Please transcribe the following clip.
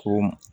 Ko